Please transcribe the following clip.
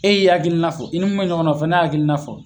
E y'i hakilina fɔ ni mun me ɲɔgɔn na o fana y'a hakilina fɔ